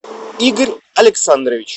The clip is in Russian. игорь александрович